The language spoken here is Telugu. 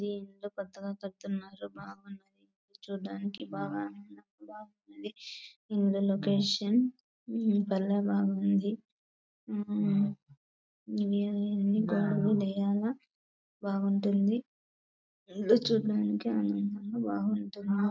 దీన్లో కొత్తగా కడుతున్నారు బాగున్నది చూడ్డానికి బాగా ఇల్లు లొకేషన్ భలే బాగుంది ఆహ్ బాగుంటుంది ఇల్లు చూడ్డానికి ఆనందంగా బాగుంటుంది.